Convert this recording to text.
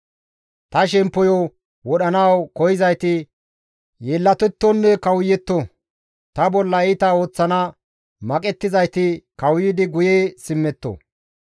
Ta shemppoyo wodhanawu koyzayti yeellatettonne kawuyetto; ta bolla iita ooththana maqettizayti kawuyidi guye simmetto.